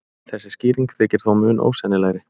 Þessi skýring þykir þó mun ósennilegri.